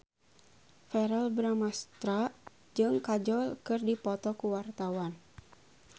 Verrell Bramastra jeung Kajol keur dipoto ku wartawan